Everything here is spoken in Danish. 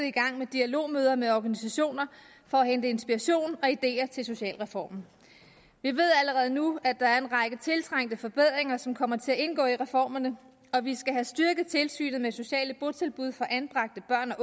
i gang med dialogmøder med organisationer for at hente inspiration og ideer til socialreformen vi ved allerede nu at der er en række tiltrængte forbedringer som kommer til at indgå i reformerne vi skal have styrket tilsynet med sociale botilbud for anbragte børn